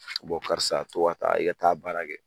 karisa ka ta i ka taa a baara kɛ